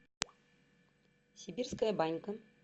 сибирская банька